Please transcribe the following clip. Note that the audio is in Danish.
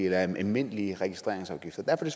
almindelige registreringsafgifter derfor